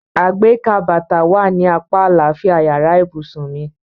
Àgbékà bàtà wà ní apá àlàáfíà yàrá ìbùsùn mi.